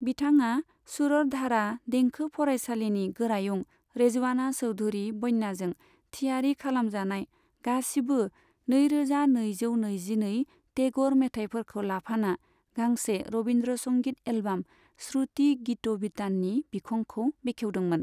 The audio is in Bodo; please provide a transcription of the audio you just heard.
बिथांया शुरर धारा देंखो फरायसालिनि गोरायुं रेजवाना चौधरी बन्याजों थियारि खालामजानाय गासिबो नै रोजा नैजौ नैजिनै टेगर मेथाइफोरखौ लाफाना गांसे रबिन्द्रसंगित एलबाम श्रुति गित'बिताननि बिखंखौ बेखेवदोंमोन।